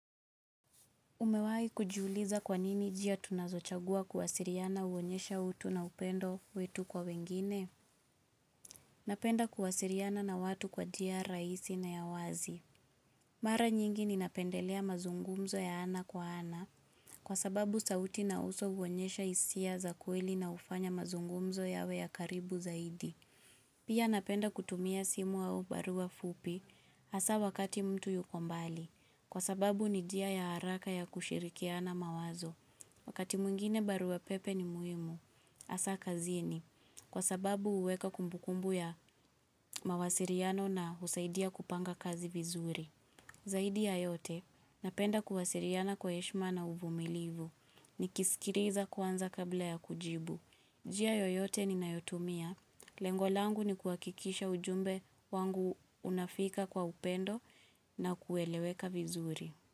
Umewahi kujiuliza kwanini njia tunazochagua kuwasiliana huonyesha utu na upendo wetu kwa wengine? Napenda kuwasiliana na watu kwa tia rahisi na ya wazi. Mara nyingi ninapendelea mazungumzo ya ana kwa ana, kwa sababu sauti na uso huonyesha hisia za kweli na hufanya mazungumzo yawe ya karibu zaidi. Pia napenda kutumia simu au barua fupi, hasa wakati mtu yuko mbali, kwa sababu ni dia ya haraka ya kushirikiana mawazo. Wakati mwingine baru pepe ni muhimu, hasaa kazini, kwa sababu huweka kumbukumbu ya mawasiliano na husaidia kupanga kazi vizuri. Zaidi ya yote, napenda kuwaasiliana kwa heshima na uvumilivu, nikiskiliza kwanza kabla ya kujibu. Njia yoyote ni nayotumia, lengo langu ni kuhakikisha ujumbe wangu unafika kwa upendo na kueleweka vizuri.